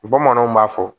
Bamananw b'a fɔ